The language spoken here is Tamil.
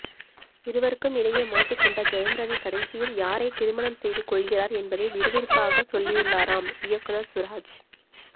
இருவருக்கும் இடையே மாட்டிக்கொண்ட ஜெயம்ரவி கடைசியில் யாரை திருமணம் செய்து கொள்கிறார் என்பதை விறுவிறுப்பாக சொல்லியுள்ளாராம் இயக்குநர் சுராஜ்